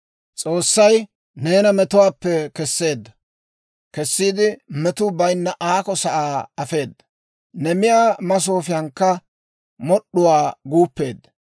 «S'oossay neena metuwaappe kessiide metuu bayinna aako sa'aa afeedda; ne miyaa masoofiyankka mod'd'uwaa guuppeedda.